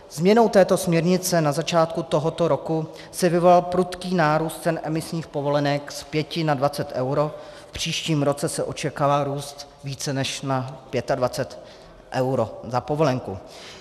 Změnou této směrnice na začátku tohoto roku se vyvolal prudký nárůst cen emisních povolenek z 5 na 20 eur, v příštím roce se očekává růst více než na 25 eur za povolenku.